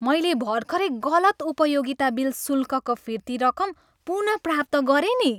मैले भर्खरै गलत उपयोगिता बिल शुल्कको फिर्ती रकम पुनः प्राप्त गरेँ नि।